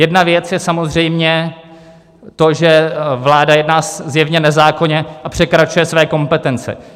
Jedna věc je samozřejmě to, že vláda jedná zjevně nezákonně a překračuje své kompetence.